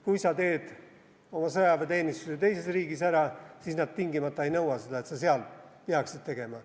Kui saa teed oma sõjaväeteenistuse teises riigis ära, siis nad tingimata ei nõua, et sa seal peaksid tegema.